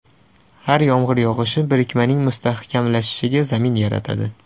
Har yomg‘ir yog‘ishi birikmaning mustahkamlanishiga zamin yaratadi.